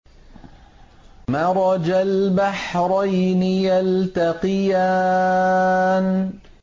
مَرَجَ الْبَحْرَيْنِ يَلْتَقِيَانِ